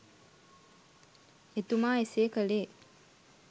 එතුමා එසේ කළේ